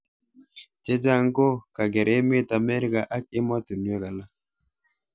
Chechang ko kaker emet America ak emotunwek alak.